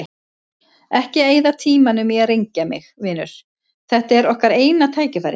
Ekki eyða tímanum í að rengja mig, vinur, þetta er okkar eina tækifærið.